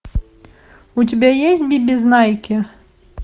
у тебя есть бибизнайки